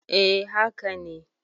E, haka ne.